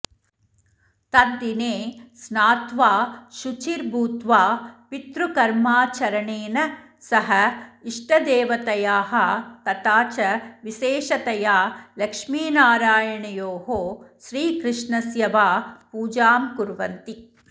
तद्दिने स्नात्वा शुचिर्भूत्वा पितृकर्माचरणेन सह इष्टदेवतयाः तथा च विशेषतया लक्ष्मीनरायणयोः श्रीकृष्णस्य वा पूजां कुर्वन्ति